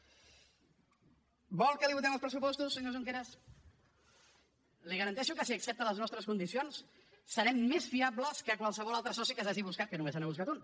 vol que li votem els pressupostos senyor junqueras li garanteixo que si accepta les nostres condicions serem més fiables que qualsevol altre soci que s’hagi buscat que només se n’ha buscat un